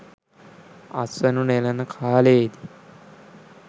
අස්වනු නෙළන කාලයේදී